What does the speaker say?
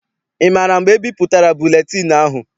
Ị maara mgbe ebipụtara buletịịnụ ahụ?